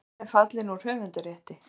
Myndin er fallin úr höfundarrétti.